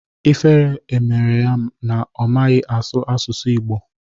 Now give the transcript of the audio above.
Ifere emerọ ya na ọ maghị asụ asụsụ Ịgbo